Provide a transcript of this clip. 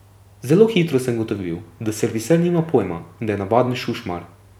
Zelo hitro sem ugotovil, da serviser nima pojma in da je navaden šušmar.